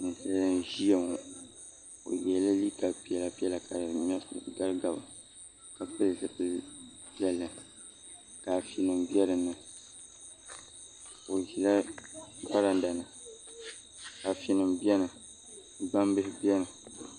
Ninsali n ziya ŋɔ bi yiɛla liiga piɛlla piɛlla ka di gabi gabi ka pili zipili piɛlli ka Ado nima bɛ dinni o zila varanda ni afi nima bɛni gbaŋ bihi bɛni.